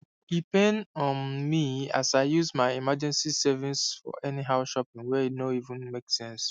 e paim um me as i use my emergency savings for anyhow shopping wey no even make sense